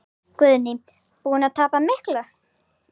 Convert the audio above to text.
Guðný: Búinn að tapa miklu?